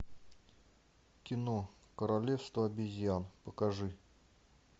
кино королевство обезьян покажи